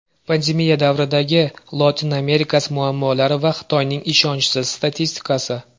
Pandemiya davridagi Lotin Amerikasi muammolari va Xitoyning ishonchsiz statistikasi.